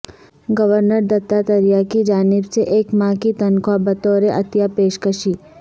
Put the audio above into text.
governor Dattatreya کی جانب سے ایک ماہ کی تنخواہ بطور عطیہ پیشکشی